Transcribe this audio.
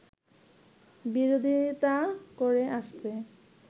বিরোধিতা করে আসছে